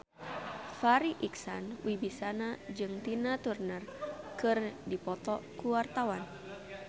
Farri Icksan Wibisana jeung Tina Turner keur dipoto ku wartawan